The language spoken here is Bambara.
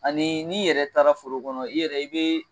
Ani n'i yɛrɛ taara foro kɔnɔ i yɛrɛ i bɛ